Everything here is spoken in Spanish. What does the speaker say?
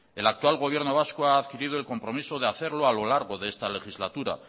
el actual gobierno vasco ha adquirido el compromiso de hacerlo a lo largo de esta legislatura